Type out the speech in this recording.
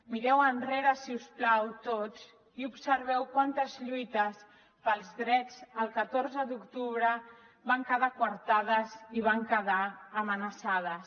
mireu enrere si us plau tots i observeu quantes lluites pels drets el catorze d’octubre van quedar quartades i van quedar amenaçades